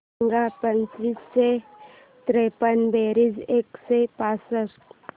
सांग पाचशे त्रेपन्न बेरीज एकशे पासष्ट